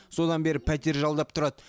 содан бері пәтер жалдап тұрады